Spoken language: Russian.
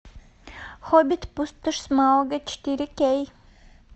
хоббит пустошь смауга четыре кей